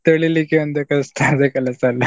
ತೊಳಿಲಿಕ್ಕೆ ಅಂದ್ರೆ ಕಷ್ಟ ಅದೆ ಕೆಲಸ ಅಲ್ಲ